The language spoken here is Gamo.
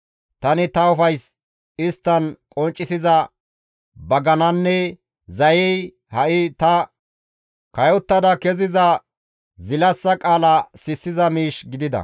Tani ta ufays isttan qonccisiza bagananne zayey ha7i ta kayottada kessiza zilassa qaala sissiza miish gidida.